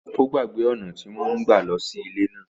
Ó gbàgbé ọ̀nà tí wọ́n ń lọ sí ilé náà.